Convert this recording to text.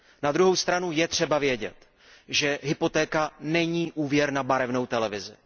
Na druhou stranu je třeba vědět, že hypotéka není úvěr na barevnou televizi.